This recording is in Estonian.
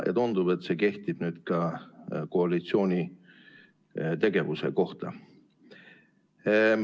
Tundub, et see kehtib ka koalitsiooni tegevuse kohta.